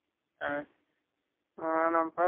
அவரு அன்னைக்கு நாங்க போனோம்